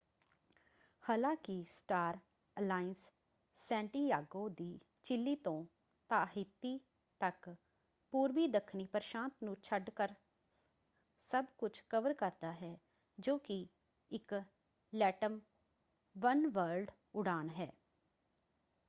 ਹਾਲਾਂਕਿ Star Alliance Santiago ਦੀ Chile ਤੋਂ ਤਾਹਿਤਿ ਤੱਕ ਪੂਰਬੀ ਦੱਖਣੀ ਪ੍ਰਸ਼ਾਂਤ ਨੂੰ ਛੱਡ ਕਰ ਸਭ ਕੁਝ ਕਵਰ ਕਰਦਾ ਹੈ ਜੋ ਕਿ ਇੱਕ ਲੈਟਮ ਵਨਵਰਲਡ ਉਡਾਨ ਹੈ।